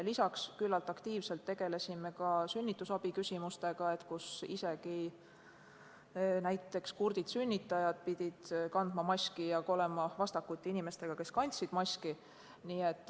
Lisaks tegelesime üsna aktiivselt sünnitusabi küsimustega, sest isegi näiteks kurdid sünnitajad pidid kandma maski ja olema vastakuti inimestega, kes kandsid maski.